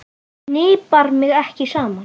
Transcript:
Ég hnipra mig ekki saman.